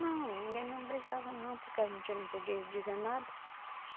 Não, ninguém não brigava não, porque a gente não podia dizer nada.